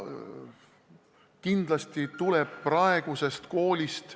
Kindlasti tuleb praegusest koolist ...